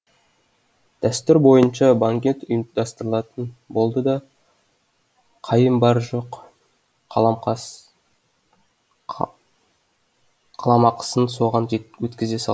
дәстүр бойынша банкет ұйымдастырылатын болды да қайым бар жоқ қаламақысын соған өткізе